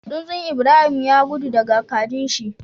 Tsuntsun Ibrahim ya gudu daka kajin shi